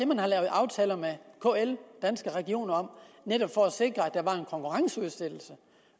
man har lavet aftaler med kl og danske regioner om netop for at sikre at der var en konkurrenceudsættelse